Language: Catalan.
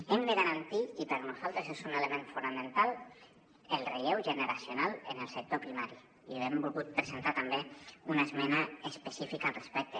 hem de garantir i per nosaltres és un element fonamental el relleu generacional en el sector primari i hem volgut presentar també una esmena específica al respecte